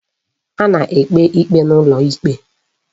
A na-ekpe ikpe n'ụlọ ikpe